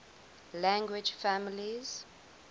language families